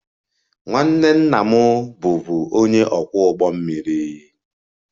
Nwanne nna m bụbu onye ọkwọ ụgbọ mmiri